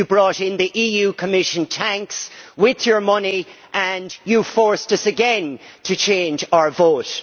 You brought in the EU Commission tanks with your money and you forced us again to change our vote.